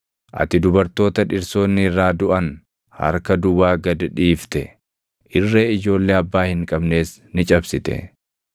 Ati dubartoota dhirsoonni irraa duʼan harka duwwaa gad dhiifte; irree ijoollee abbaa hin qabnees ni cabsite.